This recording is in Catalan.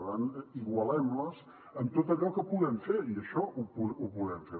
per tant igualem les en tot allò que puguem fer i això ho podem fer